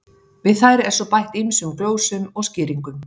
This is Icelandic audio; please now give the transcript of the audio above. Við þær er svo bætt ýmsum glósum og skýringum.